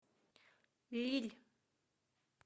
лилль